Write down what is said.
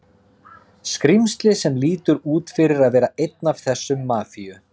skrímsli sem lítur út fyrir að vera einn af þessum Mafíu